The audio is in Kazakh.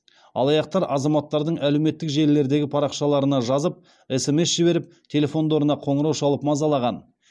алаяқтар азаматтардың әлеуметтік желілердегі парақшаларына жазып смс жіберіп телефондарына қоңырау шалып мазалаған